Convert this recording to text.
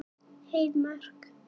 Heiðmörk